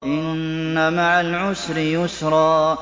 إِنَّ مَعَ الْعُسْرِ يُسْرًا